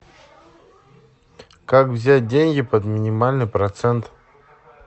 как взять деньги под минимальный процент